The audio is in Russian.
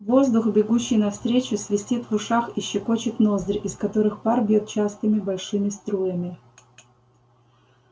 воздух бегущий навстречу свистит в ушах и щекочет ноздри из которых пар бьёт частыми большими струями